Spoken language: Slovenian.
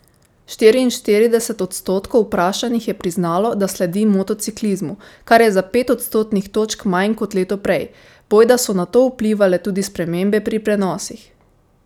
Štiriinštirideset odstotkov vprašanih je priznalo, da sledi motociklizmu, kar je za pet odstotnih točk manj kot leto prej, bojda so na to vplivale tudi spremembe pri prenosih.